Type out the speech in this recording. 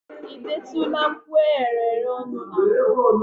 ị detụla mkpụ eghereghe ọnụ na mbụ?